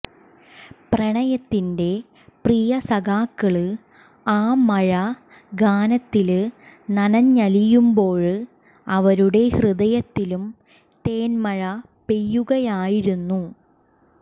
പ്രണയത്തിന്റെ പ്രിയ സഖാക്കള് ആ മഴ ഗാനത്തില് നനഞ്ഞലിയുമ്പോള് അവരുടെ ഹൃദയത്തിലും തേന്മഴ പെയ്യുകയായിരുന്നു